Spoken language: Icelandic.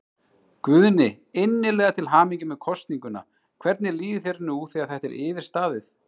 Guðni, innilega til hamingju með kosninguna, hvernig líður þér nú þegar þetta er yfirstaðið?